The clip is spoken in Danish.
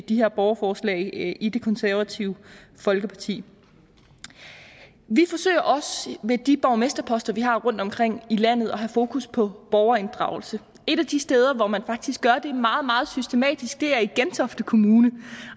de her borgerforslag i i det konservative folkeparti vi forsøger også med de borgmesterposter vi har rundtomkring i landet at have fokus på borgerinddragelse et af de steder hvor man faktisk gør det meget meget systematisk er i gentofte kommune